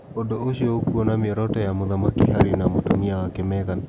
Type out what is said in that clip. Ũndũ ũcio nĩ ũkuona mĩoroto ya Mũthamaki Harry na mũtumia wake Meghan.